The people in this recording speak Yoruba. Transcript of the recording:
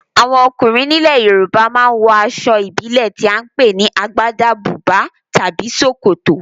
Àwọn ọkùnrin nílẹ̀ Yorùbá ma ń wọ aṣọ ìbílẹ̀ tí à ń pè ní Agbádá, bùbá tàbí ṣòkòtò